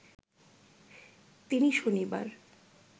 তিনি শনিবার